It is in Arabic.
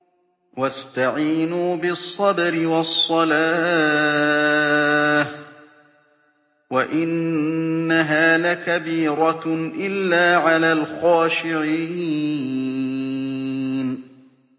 وَاسْتَعِينُوا بِالصَّبْرِ وَالصَّلَاةِ ۚ وَإِنَّهَا لَكَبِيرَةٌ إِلَّا عَلَى الْخَاشِعِينَ